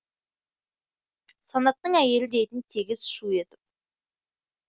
санаттың әйелі дейтін тегіс шу етіп